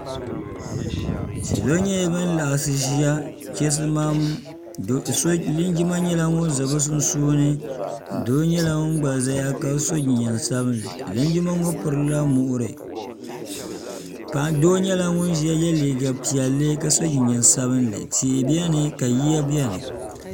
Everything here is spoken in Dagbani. salo nyɛla bin laɣasi ʒiya chisimam linjima nyɛla ŋun ʒɛ bi puuni doo nyɛla ŋun gba ʒɛya ka so jinjɛm sabinli linjima ŋo pirila muɣuri doo nyɛla ŋun ʒiya yɛ liiga piɛlli ka so jinjɛm sabinli tihi biɛni ka yiya biɛni